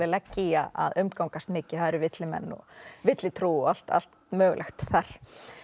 leggja í að að umgangast mikið það eru villimenn og villutrú og allt allt mögulegt þar